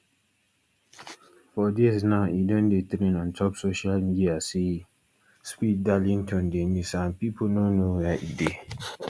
for days now e don dey trend ontop social media say speed darlington dey miss and pipo no know wia e dey